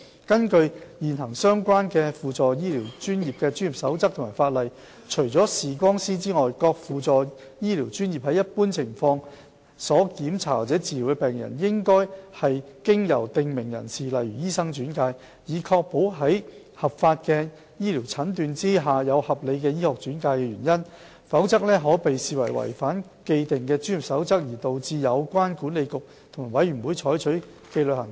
根據現行相關的輔助醫療專業的專業守則或法例，除視光師外，各輔助醫療專業在一般情況下所檢查或治療的病人，只應是經由訂明人士例如醫生轉介，以確保在合法醫療診斷下有合理醫學轉介原因，否則可被視為違反既定的專業守則而導致有關管理局及委員會採取紀律行動。